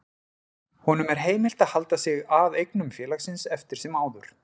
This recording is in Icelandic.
Honum er heimilt að halda sig að eignum félagsins eftir sem áður.